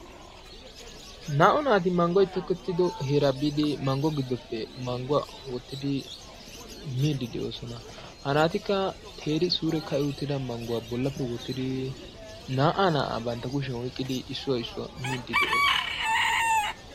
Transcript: Na''u naati maanggoy tokkettido heeraa biidi manggo giddoppe mangguwa wottidi immidi de'oosona. Haratikka teeri suure ka'i uttida mangguwa bollappe wottidi naa"a naa"aa bantta kushiyan oyqqidi issuwa issuwa miidi de'oosona.